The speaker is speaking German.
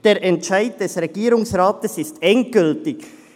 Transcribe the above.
Der Entscheid des Regierungsrates ist endgültig.